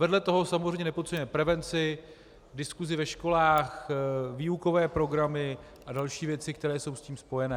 Vedle toho samozřejmě nepodceňujeme prevenci, diskusi ve školách, výukové programy a další věci, které jsou s tím spojené.